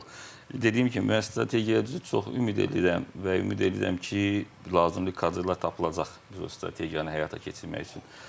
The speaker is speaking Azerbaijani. Dediyim kimi müəyyən strategiya, düzü çox ümid eləyirəm və ümid eləyirəm ki, lazımlı kadrlar tapılacaq düz strateyiyanı həyata keçirmək üçün.